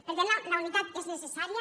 per tant la unitat és necessària